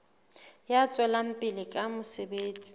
ya tswelang pele ka mosebetsi